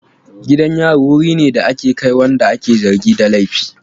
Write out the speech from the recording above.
Gidan yari wuri ne da ake kai wanda ake zargi da laifi.